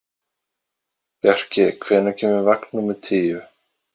Bjarki, hvenær kemur vagn númer tíu?